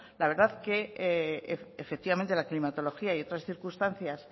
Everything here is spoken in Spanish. la verdad que efectivamente la climatología y otras circunstancias